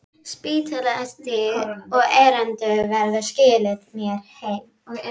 Spítalastíg, og Erlendur skilaði mér heim!